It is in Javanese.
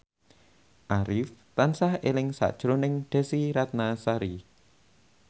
Arif tansah eling sakjroning Desy Ratnasari